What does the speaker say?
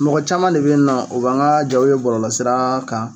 Mɔgɔ caman de bɛ yen nɔ o b'an ka jaw ye bɔlɔlɔsira kan